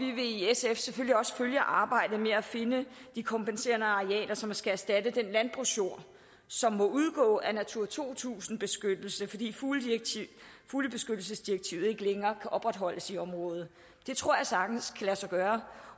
vi vil i sf selvfølgelig også følge arbejdet med at finde de kompenserende arealer som skal erstatte den landbrugsjord som må udgå af natura to tusind beskyttelse fordi fuglebeskyttelsesdirektivet ikke længere kan opretholdes i området det tror jeg sagtens kan lade sig gøre